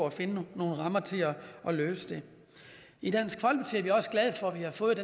at finde nogle rammer til at løse det i dansk folkeparti er vi også glade for at vi har fået